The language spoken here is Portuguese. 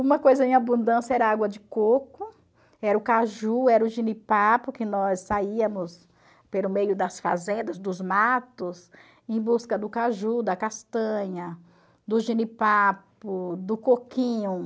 Uma coisa em abundância era água de coco, era o caju, era o jenipapo, que nós saíamos pelo meio das fazendas, dos matos, em busca do caju, da castanha, do jenipapo, do coquinho.